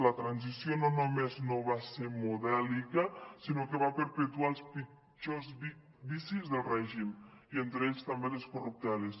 la transició no només no va ser modèlica sinó que va perpetuar els pitjors vicis del règim i entre ells també les corrupteles